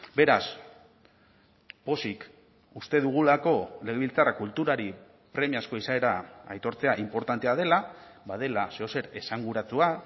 beraz pozik uste dugulako legebiltzarra kulturari premiazko izaera aitortzea inportantea dela badela zeozer esanguratsua